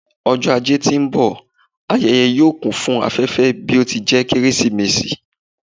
Ọjọ ajé ti n bọ, ayẹyẹ yoo kun afẹfẹ bi o ti jẹ Keresimesi